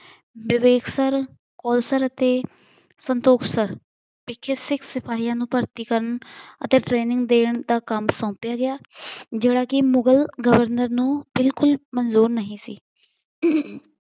ਵਿਵੇਕ ਸਰ, ਸਰ ਅਤੇ ਸੰਤੋਖ ਸਰ ਸਿੱਖ ਸਿਪਾਹੀਆਂ ਨੂੰ ਭਰਤੀ ਕਰਨ ਅਤੇ ਟਰੇਨਿੰਗ ਦੇਣ ਦਾ ਕੰਮ ਸੌਪਿਆ ਗਿਆ, ਜਿਹੜਾ ਕੀ ਮੁਗ਼ਲ ਗਵਰਨਰ ਨੂੰ ਬਿਲਕੁਲ ਮੰਜੂਰ ਨਹੀਂ ਸੀ